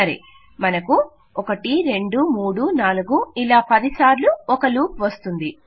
సరే మనకు 1234567810 సార్లు ఒక లూప్ వస్తుంది